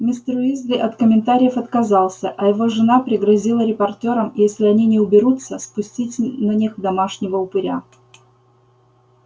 мистер уизли от комментариев отказался а его жена пригрозила репортёрам если они не уберутся спустить на них домашнего упыря